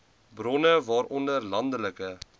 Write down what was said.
bronne waaronder landelike